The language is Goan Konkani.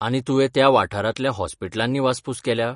आनी तुवें त्या वाठारांतल्या हॉस्पिलटांनी वासपूस केल्या?